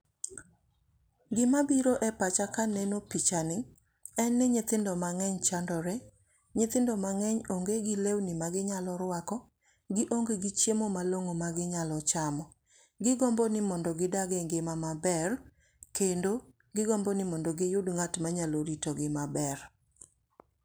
Gima biro e pacha kaneno picha ni en ni nyithindo mang'eny chandore. Nyithindo mang'eny onge gi lewni ma ginyalo ruako, gionge gi chiemo malong'o ma ginyalo chamo, gigombo ni mondo gidag e ngima maber, kendo gigombo ni mondo giyudo ng'at ma nyalo rito gi maber.